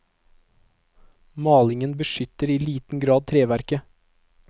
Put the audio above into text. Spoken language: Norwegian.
Malingen beskytter i liten grad treverket.